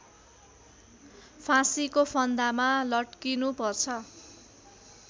फाँसीको फन्दामा लट्किनुपर्छ